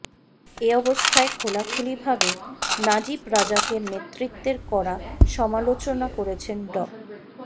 এ অবস্থায় খোলাখুলিভাবে নাজিব রাজাকের নেতৃত্বের কড়া সমালোচনা করেছেন ড